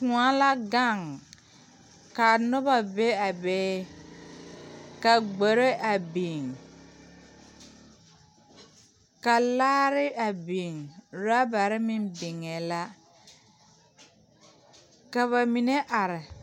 Kóɔ la gaŋ kaa Nona be a be ka gboe a biŋ ka laare a biŋ orɔbare meŋ niŋee la ka na mine are